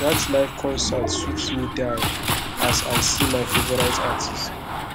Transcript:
dat live concert sweet me die as i see my favourite artist